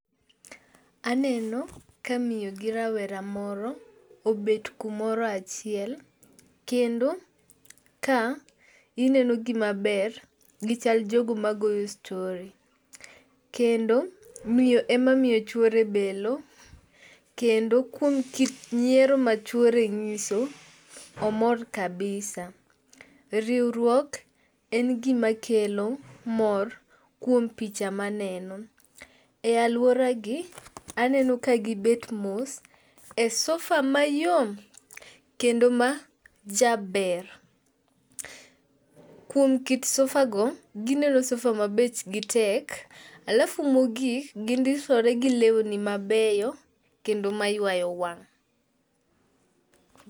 Aneno ka miyo gi rawera moro obet kumoro achiel. Kendo ka ineno gi maber gichal jogo magoyo stori. Kendo miyo e ma miyo chuore belo. Kendo kuom kit nyiero ma chuore nyiso, omor kabisa. Riwruok en gima kelo mor kuom picha maneno. E aluora gi aneno ka gibet mos e sofa mayom kendo majaber. Kuom kit sofa go gineno sofa ma bech gi tek. Alafu mogik , gindisore gi lowni mabeyo kendo maywayo wang'.